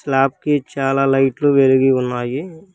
Slab కి చాలా లైట్లు వెలిగి ఉన్నాయి.